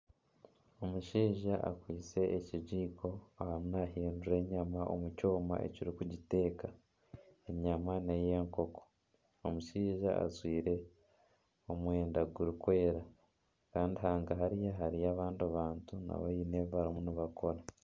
Omushaija akwitse ekigiiko arimu nahindura enyama omu kyooma ekiri kugiteeka. Enyama n'eyenkoko. Omushaija ajwaire omwenda guri kweera Kandi hanga hariya hariyo abandi bantu nabo hiine ebi barimu nibakora